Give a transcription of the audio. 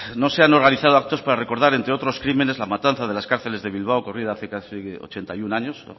no se han organizado actos para recordar entre otros crímenes la matanza de las cárceles de bilbao ocurrida hace casi ochenta y uno años